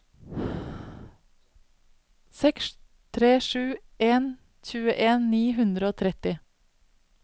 seks tre sju en tjueen ni hundre og tretti